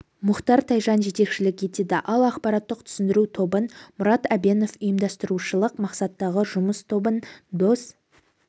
мұхтар тайжан жетекшілік етеді ал ақпараттық түсіндіру тобын мұрат әбенов ұйымдастырушылық мақсаттағы жұмыс тобын дос